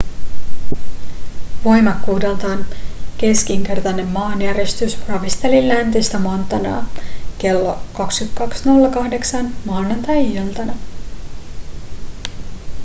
voimakkuudeltaan keskinkertainen maanjäristys ravisteli läntistä montanaa klo 22.08 maanantai-iltana